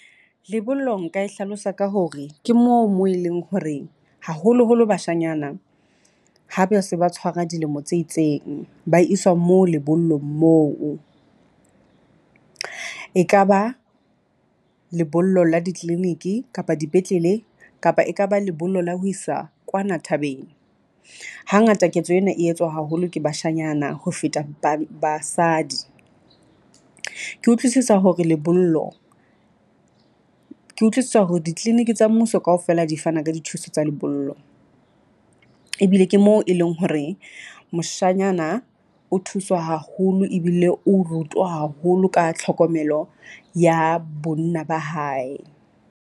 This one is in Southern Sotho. Lebollong nka e hlalosa ka hore ke moo moo e leng hore haholoholo bashanyana ha ba se ba tshwara dilemo tse itseng, ba iswa mo lebollong moo. E ka ba lebollo la di-clinic-e kapa dipetlele kapa e ka ba lebollo la ho isa kwana thabeng. Hangata ketso ena e etswa haholo ke bashanyana ho feta ba basadi. Ke utlwisisa hore lebollo ke utlwisisa hore di-clinic tsa mmuso kaofela di fana ka dithuso tsa lebollo. Ebile ke mo e leng hore moshanyana o thuswa haholo ebile o rutuwa haholo ka tlhokomelo ya bonna ba hae.